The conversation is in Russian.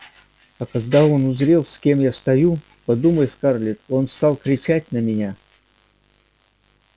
а когда он узрел с кем я стою подумай скарлетт он стал кричать на меня